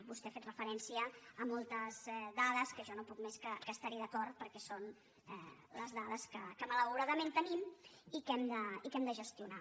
vostè ha fet referència a moltes dades que jo no puc més que estar hi d’acord perquè són les dades que malauradament tenim i que hem de gestionar